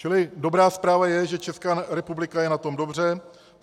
Čili dobrá zpráva je, že Česká republika je na tom dobře.